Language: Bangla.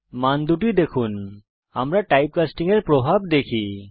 মান দুটি দেখুন আমরা টাইপকাস্টিং এর প্রভাব দেখি